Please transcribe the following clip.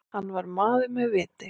Hann var maður með viti.